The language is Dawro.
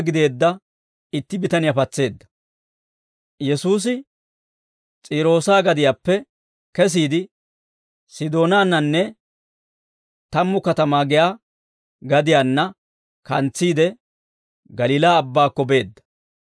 Yesuusi S'iiroosa gadiyaappe kesiide, Sidoonaannanne Tammu Katamaa giyaa gadiyaanna kantsiide, Galiilaa Abbaakko beedda.